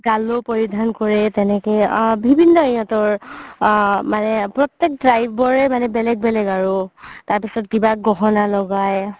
গালো পৰিধান কৰে তেনেকে আ বিভিন্ন সিহতৰ আ মানে প্ৰতেক tribe ৰে বেলেগ বেলেগ আৰু তাৰ পিছত গহনা লগাই